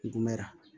Ngumera